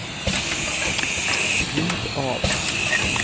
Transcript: ljud av